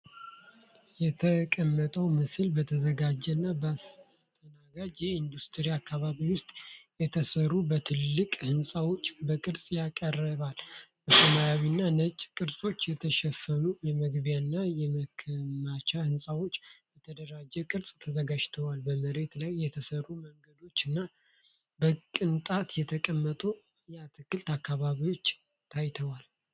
የተቀመጠው ምስል በተዘጋጀ እና በተስተናጋጅ የኢንዱስትሪ አካባቢ ውስጥ የተሰሩ ባለትልቅ ሕንፃዎችን በቅርጽ ያቀርባል። በሰማያዊና ነጭ ቅርጽ የተሸፈኑ የመግቢያ እና የማከማቻ ሕንፃዎች በተደራጀ ቅርጽ ተዘጋጅተዋል፣ በመሬት ላይ የተሠሩ መንገዶች እና በቅንጣት የተቀመጡ የአትክልት አካባቢዎች ታይተዋል።